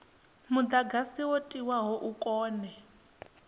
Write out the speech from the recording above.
mudagasi wo tiwaho u kone